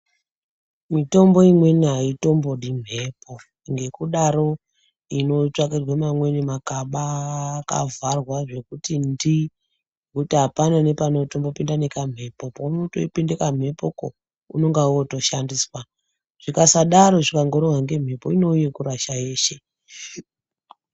Mitombo imweni haitombodi mhepo ngekudaro inotsvakirwa mamweni makaba akavharwa zvekuti ndii pekuti apana nepanotombopinda nekamhepo. Panenge peipinda mhepoko unenge wotoshandiswa. Zvikasadaro zvikangorohwa ngemhepo unongove wekurasha weshe.